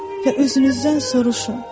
və özünüzdən soruşun.